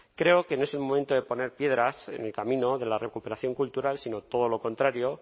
creo que no es el momento de poner piedras en el camino de la recuperación cultural sino todo lo contrario